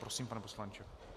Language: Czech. Prosím, pane poslanče.